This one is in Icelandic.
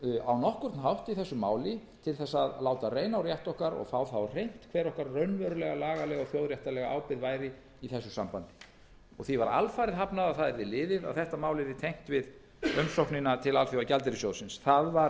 á nokkurn hátt í þessu máli til að láta reyna á rétt okkar og fá það á hreint hver okkar raunverulega lagalega og þjóðréttarlega ábyrgð væri í þessu sambandi því var alfarið hafnað að það yrði liðið að þetta mál yrði tengt við umsóknina til alþjóðagjaldeyrissjóðsins engu að